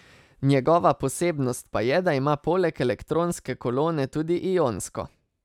Njegova posebnost pa je, da ima poleg elektronske kolone tudi ionsko.